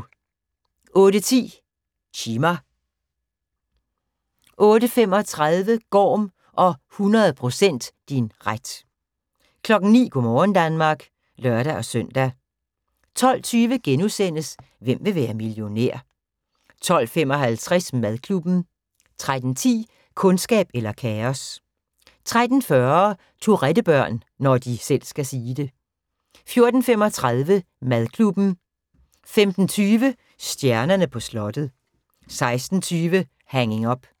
08:10: Chima 08:35: Gorm og 100 % din ret 09:00: Go' morgen Danmark (lør-søn) 12:20: Hvem vil være millionær? * 12:55: Madklubben 13:10: Kundskab eller kaos 13:40: Tourette-børn – når de selv skal sige det 14:35: Madklubben 15:25: Stjernerne på slottet 16:20: Hanging Up